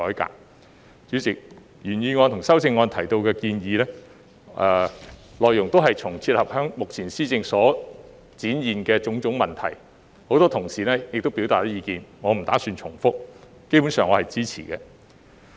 代理主席，原議案和修正案提到的建議，內容也能切合目前施政所展現的種種問題，很多同事已表達意見，我不打算重複，基本上我是支持的。